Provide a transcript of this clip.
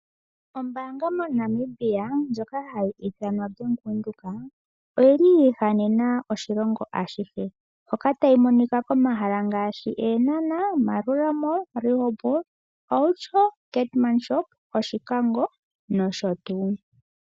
Ombaanga moNamibia ndjoka hayi ithanwa ombaanga yaVenduka oyili yi ihanena oshilongo ashihe. Hoka tayi monika komahala ngaashi Eenhana, Maerua Mall, Rehoboth, Outjo, Keetmashoop, Oshikango nosho tuu.